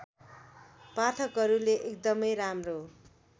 पाठकहरूले एकदमै राम्रो